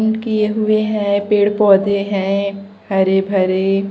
उन किए हुए हैं पेड़ पौधे हैं हरे भरे।